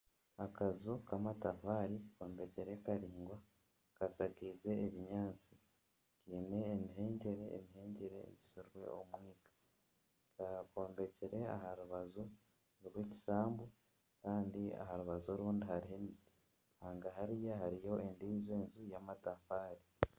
Akaju kamatafaari kombekire karingwa kashakiize ebinyaatsi kiine emihengyere. Emihengyere eyisirwe omwika. Kombekire aha rubaju rw'ekishambo kandi aha rubaju orundi hariho emiti hanga hariya hariyo endiijo nju yamatafaari.